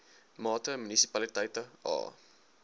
mate munisipaliteite a